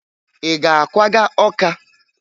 Ị ga-akwaga Ọka?